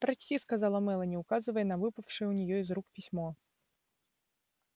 прочти сказала мелани указывая на выпавшее у нее из рук письмо